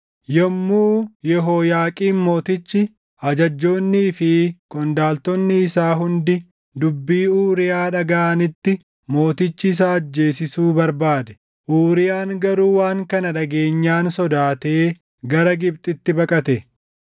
Yommuu Yehooyaaqiim mootichi, ajajjoonnii fi qondaaltonni isaa hundi dubbii Uuriyaa dhagaʼanitti mootichi isa ajjeesisuu barbaade; Uuriyaan garuu waan kana dhageenyaan sodaatee gara Gibxitti baqate.